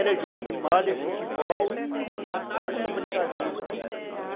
Era jogo de malha, futebol e aquela brincadeira que a gente tinha lá.